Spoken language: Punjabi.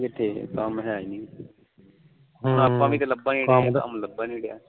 ਕੰਮ ਕਿਥੇ ਕੰਮ ਹੈ ਨੀ ਹੁਣ ਆਪਾ ਵੀ ਲੱਭਣ ਡੇ ਕੰਮ ਲੱਭਣ ਨੀ ਰਿਹਾ